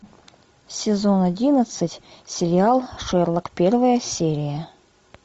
сезон одиннадцать сериал шерлок первая серия